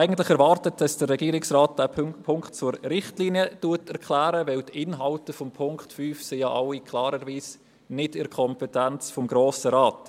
Ich hatte eigentlich erwartet, dass der Regierungsrat Punkt 5 zur Richtlinie erklärt, liegen die Inhalte dieses Punktes doch alle klarerweise nicht in der Kompetenz des Grossen Rates.